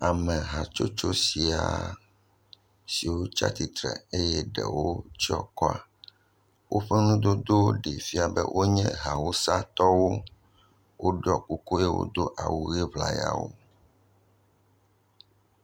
Ame hatsotso sia siwo tsi atsitre eye eɖwo tsyɔ̃ akɔ, woƒe nudodowo ɖe fia be wonye awusatɔwo woɖɔ kuku eye wodo awu ʋe ŋlayawo.